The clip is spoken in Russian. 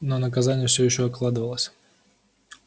но наказание всё ещё откладывалось